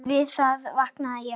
Við það vaknaði ég.